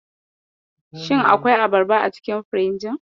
Shi akwai abarba a cikin firinji?